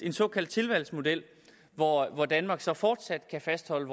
en såkaldt tilvalgsmodel hvor danmark så fortsat kan fastholde